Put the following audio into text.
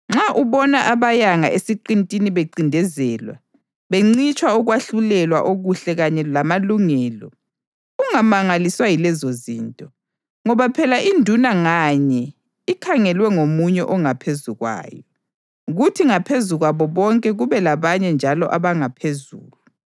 Nxa ubona abayanga esiqintini bencindezelwa, bencitshwa ukwahlulelwa okuhle kanye lamalungelo, ungamangaliswa yilezozinto; ngoba phela induna nganye ikhangelwe ngomunye ongaphezu kwayo, kuthi ngaphezu kwabo bonke kube labanye njalo abangaphezulu.